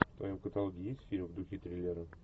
в твоем каталоге есть фильм в духе триллера